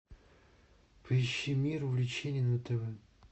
поищи мир увлечений на тв